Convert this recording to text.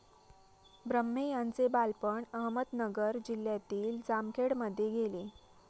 ब्रह्मे यांचे बालपण अहमदनगर जिल्ह्यातील जामखेडमध्ये गेले.